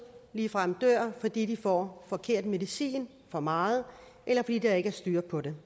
ligefrem dør fordi de får forkert medicin for meget eller fordi der ikke er styr på det